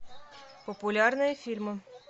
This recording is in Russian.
популярные фильмы